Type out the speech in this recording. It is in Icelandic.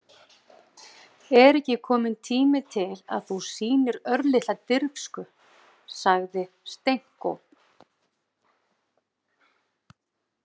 Er ekki kominn tími til að þú sýnir örlitla dirfsku, sagði Stenko.